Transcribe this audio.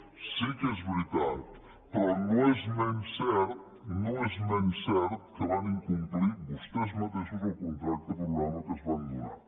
sí que és veritat però no és menys cert no és menys cert que van incomplir vostès mateixos el contracte programa que es van donar